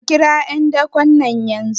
a kirawo `yandakon yanzu?